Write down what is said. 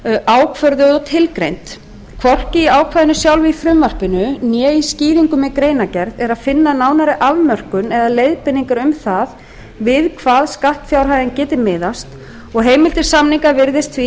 ákvörðuð og tilgreind hvorki í ákvæðinu sjálfu í frumvarpinu né skýringum í greinargerð er að finna nánari afmörkun eða leiðbeiningar um það við hvað skattfjárhæðin geti miðast og heimild til samninga virðist